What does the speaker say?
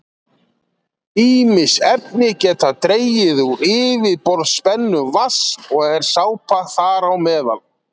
Ýmis efni geta dregið úr yfirborðsspennu vatns og er sápa þar á meðal.